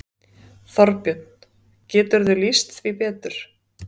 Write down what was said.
Þorbjörn: Geturðu lýst því betur?